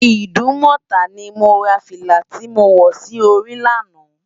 Idumota ni mó rá filá ti mó wò si óri làná